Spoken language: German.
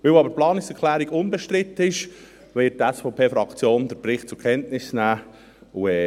Weil aber die Planungserklärung unbestritten ist, wird die SVP-Fraktion den Bericht zur Kenntnis nehmen.